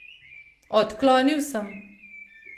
Odklonil sem.